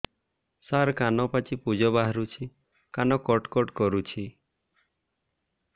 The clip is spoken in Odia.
ସାର କାନ ପାଚି ପୂଜ ବାହାରୁଛି କାନ କଟ କଟ କରୁଛି